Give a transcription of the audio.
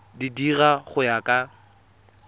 di dira go ya ka